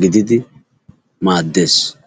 gididi maadees.